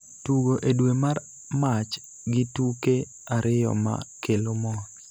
tugo e dwe mar Mach gi tuke ariyo ma kelo mor.